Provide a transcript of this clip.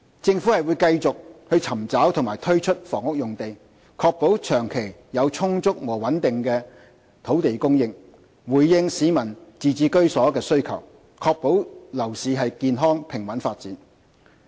政府會繼續尋找及推出房屋用地，確保長期有充足和穩定的土地供應，回應市民自置居所的需求，確保樓市健康平穩發展。